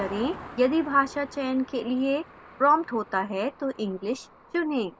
यदि भाषा चयन के लिए prompted होता है तो englishचुनें